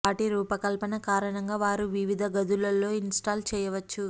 వాటి రూపకల్పన కారణంగా వారు వివిధ గదులు లో ఇన్స్టాల్ చేయవచ్చు